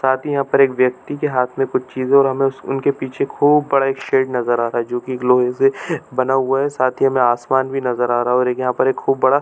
साथ ही यहाँ पर एक व्यक्ति के हाथ में कुछ चीज़ो और हमें उस उनके पीछे खूब बड़ा एक शेड नज़र आ रहा है जो कि एक लोहे से बना हुआ है साथ ही हमें आसमान भी नजर आ रहा और यहाँ पर एक खूब बड़ा --